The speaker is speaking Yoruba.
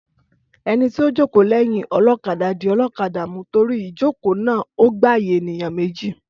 Ẹnití o jókòó léyìn olókadà dì olókadà mú torí ìjokòó naa ò gbàyènìyàn méjì.